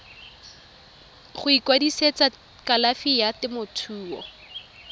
go ikwadisetsa kalafi ya temothuo